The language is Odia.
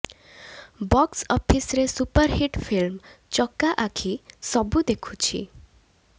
ବକ୍ସ ଅଫିସରେ super hit film Chaka Akhi Sabu ଦେଖୁଛି